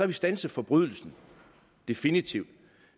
vi standset forbrydelsen definitivt